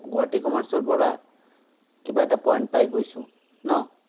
Guwahati commerce ৰপৰা কিবা এটা point পাই গৈছো, ন?